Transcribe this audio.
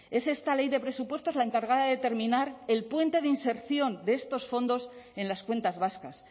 es esta ley de presupuestos la encargada de terminar el puente de inserción de estos fondos en las cuentas vascas